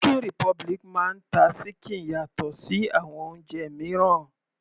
Chicken republic máa ń ta ṣíkìn yàtọ̀ sí àwọn oúnjẹ mìíràn.